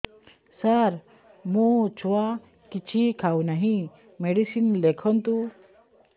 ସାର ମୋ ଛୁଆ କିଛି ଖାଉ ନାହିଁ ମେଡିସିନ ଲେଖନ୍ତୁ